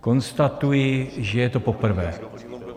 Konstatuji, že je to poprvé.